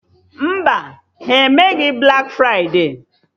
Mba, ha emeghị blak fride